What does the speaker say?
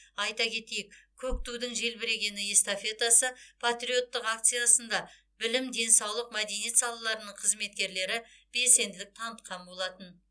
айта кетейік көк тудың желбірегені эстафетасы патриоттық акциясында білім денсаулық мәдениет салаларының қызметкерлері белсенділік танытқан болатын